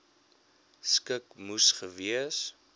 skik moes gewees